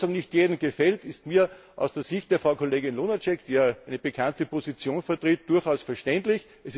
Dass die Lösung nicht jedem gefällt, ist mir aus der Sicht der Frau Kollegin Lunacek, die ja eine bekannte Position vertritt, durchaus verständlich.